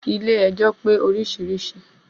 Ilé ẹjọ́ pé orísirísi.